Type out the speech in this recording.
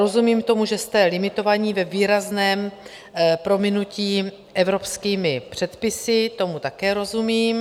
Rozumím tomu, že jste limitovaní ve výrazném prominutí evropskými předpisy, tomu také rozumím.